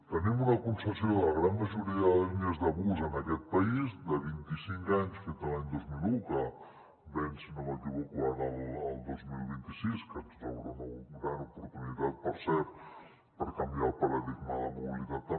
tenim una concessió de la gran majoria de línies de bus en aquest país de vint i cinc anys fetes l’any dos mil un que venç si no m’equivoco ara el dos mil vint sis que ens obre una gran oportunitat per cert per canviar el paradigma de la mobilitat també